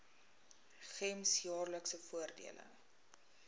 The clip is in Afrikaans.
gems jaarlikse voordele